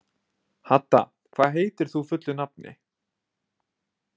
Hadda, hvað heitir þú fullu nafni?